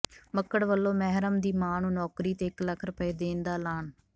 ਮੱਕੜ ਵੱਲੋਂ ਮਹਿਰਮ ਦੀ ਮਾਂ ਨੂੰ ਨੌਕਰੀ ਤੇ ਇਕ ਲੱਖ ਰੁਪਏ ਦੇਣ ਦਾ ਐਲਾਨ